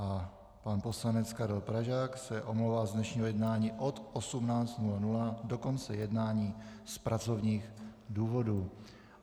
A pan poslanec Karel Pražák se omlouvá z dnešního jednání od 18.00 do konce jednání z pracovních důvodů.